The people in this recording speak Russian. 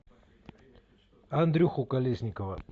андрюху колесникова